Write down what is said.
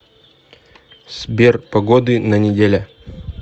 сбер погоды на неделя